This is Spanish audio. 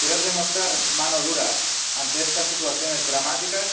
Querer demostrar mano dura ante estas situaciones dramáticas